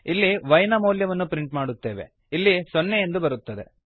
ಇಲ್ಲಿ y ನ ಮೌಲ್ಯವನ್ನು ಪ್ರಿಂಟ್ ಮಾಡುತ್ತೇವೆ ಇಲ್ಲಿ ಸೊನ್ನೆ ಎಂದು ಬರುತ್ತದೆ